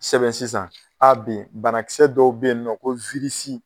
Sɛbɛn sisan a be yen banakisɛ dɔw be yen nɔ o